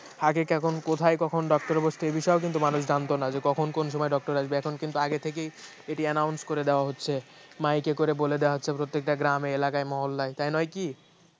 আগে কখন কোথায় কখন doctor বসত এ বিষয়ে কিন্তু মানুষ জানতো না যে কখন কোন সময়ে doctor আসবে এখন কিন্তু আগে থেকেই এটি announce করে দেওয়া হচ্ছে mike করে বলে দেয়া হচ্ছে প্রত্যেকটি গ্রামে এলাকায় মহল্লায় তাই নয় কি